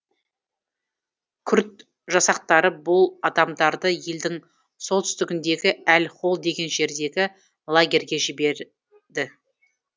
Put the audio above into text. күрд жасақтары бұл адамдарды елдің солтүстігіндегі әл хол деген жердегі лагерге жібереді